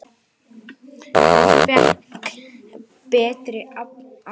Hvort fékk betri afla?